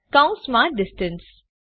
કૌંસમાં ડિસ્ટન્સ